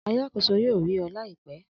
Alakoso yoo ri ọ laipẹ.